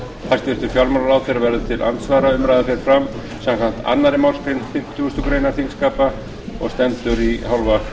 hæstvirtur fjármálaráðherra verður til andsvara umræðan fer fram samkvæmt annarri málsgrein fimmtugustu grein þingskapa og stendur í hálfa